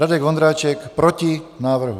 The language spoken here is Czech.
Radek Vondráček: Proti návrhu.